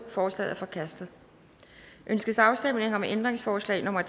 forslaget er forkastet ønskes afstemning om ændringsforslag nummer